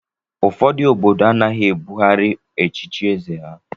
Ụfọdụ obodo anaghị ebughari echichi eze ha.